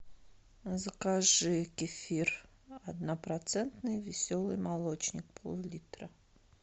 закажи кефир однопроцентный веселый молочник пол литра